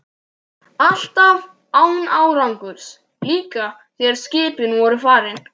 Alltaf án árangurs, líka þegar skipin voru farin.